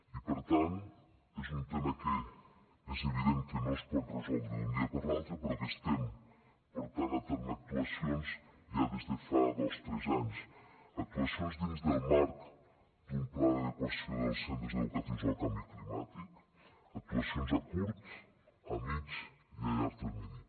i per tant és un tema que és evident que no es pot resoldre d’un dia per l’altre però que estem portant a terme actuacions ja des de fa dos tres anys actuacions dins del marc d’un pla d’adequació dels centres educatius al canvi climàtic actuacions a curt a mitjà i a llarg termini